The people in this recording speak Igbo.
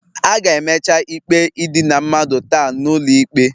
A ga-emecha ikpe idina mmadụ taa n'ụlọ ikpe